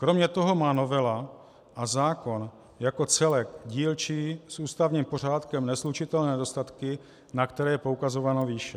Kromě toho má novela a zákon jako celek dílčí s ústavním pořádkem neslučitelné nedostatky, na které je poukazováno výše.